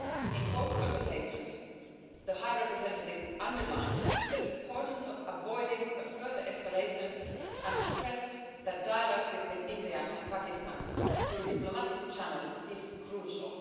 In both conversations, the High Representative underlined the importance of avoiding a further escalation and stressed that dialogue between India and Pakistan through diplomatic channels is crucial.